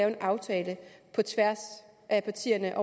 en aftale på tværs af partierne